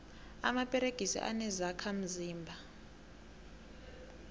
amaperegisi anezokha mzimba